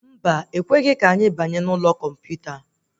Mba, ekwerọ ka anyị banye n'ụlọ kọmputa